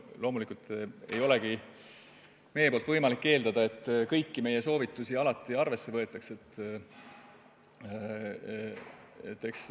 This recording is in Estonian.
Loomulikult ei saa me eeldada, et kõiki meie soovitusi alati arvesse võetakse.